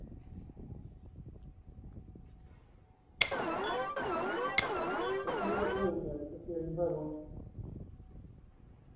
какие долги у меня что-то я не пойму